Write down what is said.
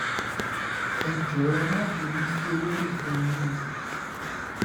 ẹ jọ̀ọ́ ẹ má bínú sí olólùfẹ́ yín o